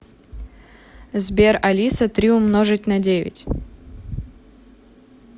сбер алиса три умножить на девять